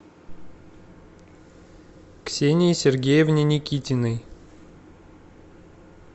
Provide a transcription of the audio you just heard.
ксении сергеевне никитиной